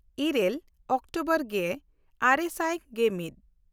ᱤᱨᱟᱹᱞ ᱚᱠᱴᱳᱵᱚᱨ ᱜᱮᱼᱟᱨᱮ ᱥᱟᱭ ᱜᱮᱢᱤᱫ